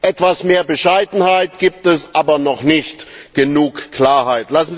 Etwas mehr Bescheidenheit gibt es, aber noch nicht genug Klarheit.